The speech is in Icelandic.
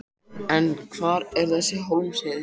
En hvar er þessi Hólmsheiði?